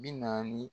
Bi naani